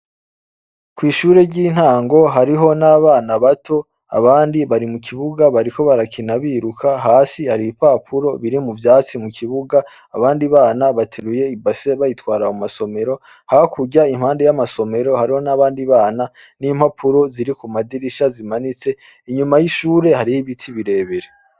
Kw'ishure ry'intango hariho n'abana bato abandi bari mu kibuga bariko barakina biruka, hasi hari ipapuro biri mu vyatsi mu kibuga, abandi bana bateruye ibase bayitwara mu masomero. Hakurya impande y'amasomero hariho n'abandi bana n'impapuro ziri ku madirisha zimanitse, inyuma y'ishure hariyo ibiti birebire.